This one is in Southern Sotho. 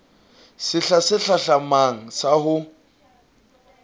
sehla se hlahlamang sa ho